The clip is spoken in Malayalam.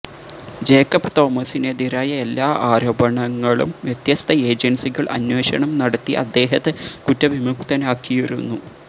ജേക്കബ് തോമസിനെതിരായ എല്ലാ ആരോപണങ്ങളും വ്യത്യസ്ത ഏജന്സികള് അന്വേഷണം നടത്തി അദ്ദേഹത്തെ കുറ്റവിമുക്തനാക്കിയിരുന്നു